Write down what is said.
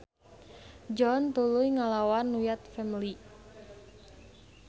John tuluy ngalawan Wyatt Family.